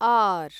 R